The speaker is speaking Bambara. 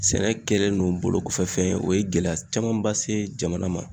Sɛnɛ kɛlen no bolokɔfɛfɛn ye o ye gɛlɛya camanba se jamana ma